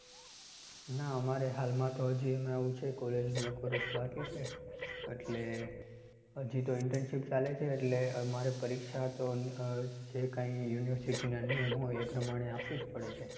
ના અમારે હાલમાં તો હજી આવું છે college નું એક વર્ષ બાકી છે એટલે હજી તો internship ચાલે છે એટલે મારે પરીક્ષા તો જે કઈ university ના નિયમ હોય એ પ્રમાણે આપવી પડે છે